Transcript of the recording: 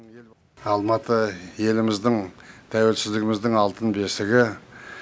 алматы еліміздің тәуелсіздігіміздің алтын бесігі